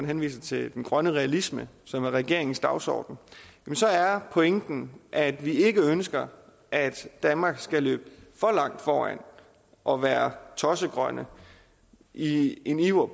henviser til den grønne realisme som er regeringens dagsorden pointen er at vi ikke ønsker at danmark skal løbe for langt foran og være tossegrønne i en iver